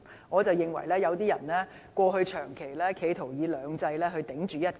我認為有些人過去長期企圖以"兩制"頂着"一國"。